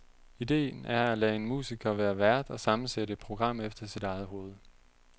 Idéen er at lade en musiker være vært og sammensætte et program efter sit eget hovede.